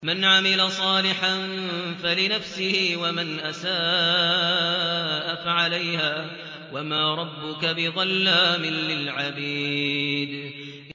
مَّنْ عَمِلَ صَالِحًا فَلِنَفْسِهِ ۖ وَمَنْ أَسَاءَ فَعَلَيْهَا ۗ وَمَا رَبُّكَ بِظَلَّامٍ لِّلْعَبِيدِ